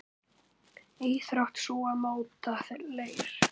Íþrótt sú að móta leir.